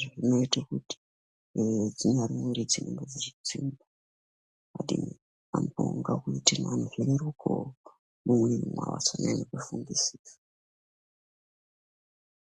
yemiduso ngekuti vantu varekere kufunga maningi.